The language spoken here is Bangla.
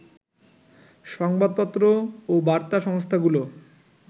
সংবাদপত্র ও বার্তা সংস্থাগুলো